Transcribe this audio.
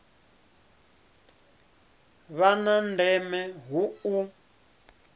vha na ndeme hu u